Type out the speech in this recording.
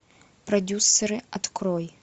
продюссеры открой